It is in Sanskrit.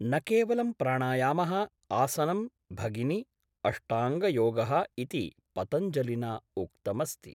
न केवलं प्राणायामः आसनं भगिनि अष्टाङ्गयोगः इति पतञ्जलिना उक्तमस्ति